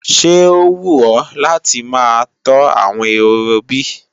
Ṣé ó wù ọ́ láti máa tọ́ àwọn ehoro bí?